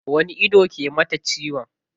Wani ido ke mata ciwon?